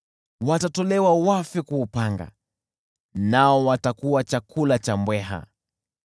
Watatolewa wafe kwa upanga, nao watakuwa chakula cha mbweha.